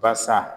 Basa